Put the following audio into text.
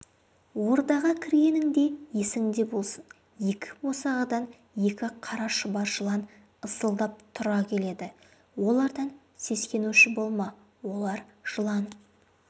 ордаға кіргеніңде есіңде болсын екі босағадан екі қара шұбар жылан ысылдап тұра келеді олардан сескенуші болма олар жылан